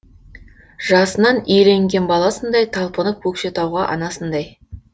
жасынан иеленген баласындай талпынып көкшетауға анасындай